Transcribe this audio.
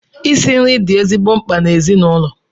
Isi nri di ezigbote mkpa n’ezinụlọ